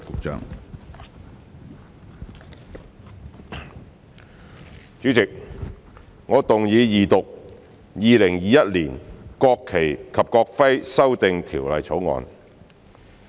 主席，我動議二讀《2021年國旗及國徽條例草案》。